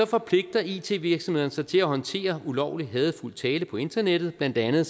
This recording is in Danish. forpligter it virksomhederne sig til at håndtere ulovlig hadefuld tale på internettet blandt andet